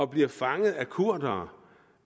bliver fanget af kurdere